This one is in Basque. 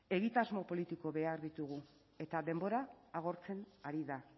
egitasmo politikoak behar ditugu eta denbora agortzen ari da